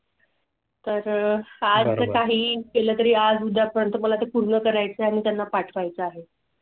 तर हा काही केलं तरी आज उद्या पर्यंत मला ते पूर्ण करायचं आहे. त्यांना पाठ वायचा आहे.